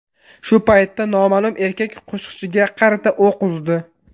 Shu paytda noma’lum erkak qo‘shiqchiga qarata o‘q uzdi.